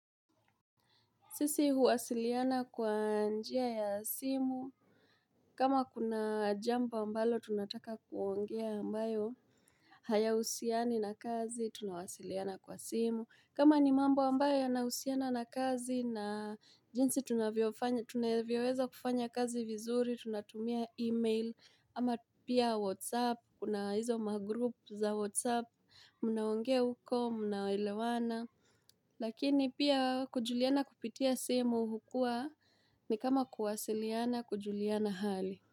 Sisi huwasiliana kwa njia ya simu, kama kuna jambo ambalo tunataka kuongea ambayo haya husiani na kazi tunawasiliana kwa simu, kama ni mambo ambayo yanahusiana na kazi na jinsi tunavyoweza kufanya kazi vizuri, tunatumia email, ama pia whatsapp, kuna hizo magroup za whatsapp, mnaongea huko, mnaelewana Lakini pia kujuliana kupitia simu hukua ni kama kuwasiliana kujuliana hali.